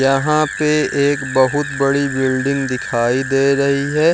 यहाँ पे एक बहुत बड़ी बिल्डिंग दिखाई दे रही है।